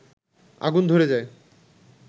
আগুন ধরে যায়